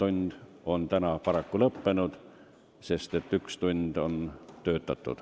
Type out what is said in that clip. Paraku on tänane infotund lõppenud, sest üks tund on töötatud.